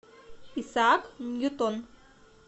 исаак ньютон